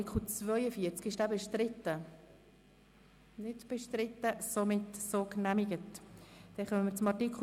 42 Angenommen Art. 43 Abs. 1 Besteht kein Vertrag mit dem Kanton gemäss Artikel 22